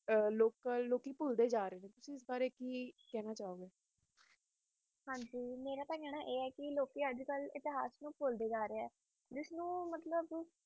ਲੋਕੀ ਭੁਲਦੇ ਜਾ ਰਹੇ ਨੇ ਤੁਸੀ ਇਸ ਬਾਰੇ ਚ ਕਿ ਕਹੋ ਗੇ ਹਨ ਜੀ ਮੇਰਾ ਤੇ ਕਹਿਣਾ ਆਏ ਹੈ ਹੈ ਕ ਲੋਕੀ ਅਜਕਲ ਇਤਿਹਾਸ ਨੂੰ ਭੁਲਦੇ ਜਾ ਰਹੇ ਹੈ ਜਿਸ ਨੂੰ ਕ